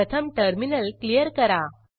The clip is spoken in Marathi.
प्रथम टर्मिनल क्लियर करा